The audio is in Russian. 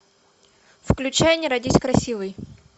включай не родись красивой